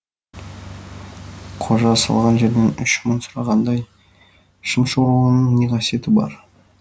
қожа салған жерден үш мың сұрағандай шымшуырыңның не қасиеті бар